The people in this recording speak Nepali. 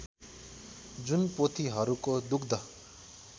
जुन पोथीहरूको दुग्ध